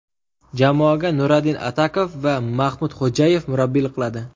Jamoaga Nuradin Atakov va Maxmud Xo‘jayev murabbiylik qiladi.